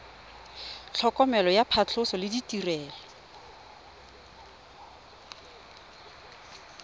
tlhokomelo ya phatlhoso le ditirelo